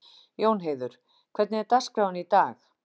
Jónheiður, hvernig er dagskráin í dag?